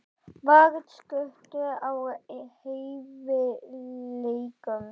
Var skortur á hæfileikum?